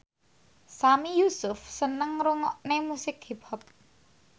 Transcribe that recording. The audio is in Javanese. Sami Yusuf seneng ngrungokne musik hip hop